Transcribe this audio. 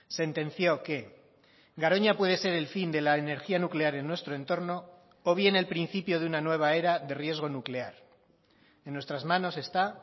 sentenció que garoña puede ser el fin de la energía nuclear en nuestro entorno o bien el principio de una nueva era de riesgo nuclear en nuestras manos está